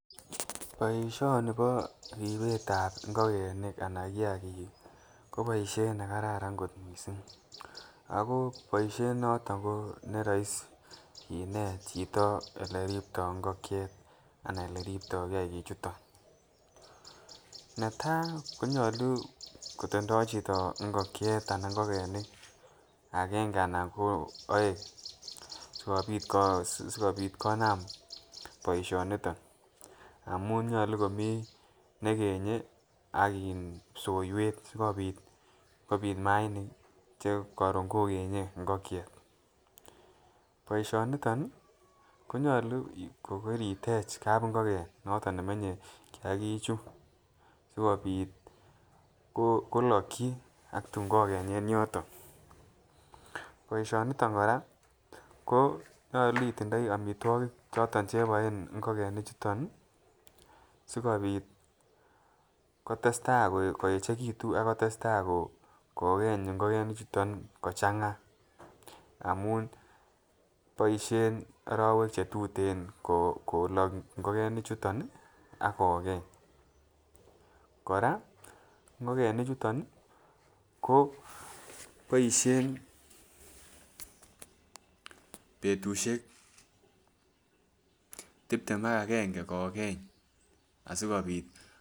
Boishoni bo ribet ab ingokenik anan kiyakik kii ko boishet nekararan kot missing ako boishet noton ko ne roisi kinet chito ole ripto ingokiet anan ole ripto kiyakik chuton. Netai konyolu kotindoi chito ingokiet anan ingokenik agenge anan ko oeng sikopit ko sikopit konam boishoniton amun nyolu komii nekenye ak in psoiwek sikopit kopit imainik kii chekorun kokenye ingokiet. Boishoniton nii konyolu kokoritech kabingoken noton nemenye kiyakik chuu sikopit koloki ak tun kokenyen yoton. Boishoniton koraa konyolu itindoi omitwokik choton cheboen ingokenik chuton nii sikopit kotestai koyechekitun ak kotestai kokeny ingokenik chuton kochanga amun boishen orowek chetuteno koloki ingokenik chuton nii ak kokeny, Koraa ingokenik chuton nii ko boishen betushek tiptem ak agenge kokeny asikopit.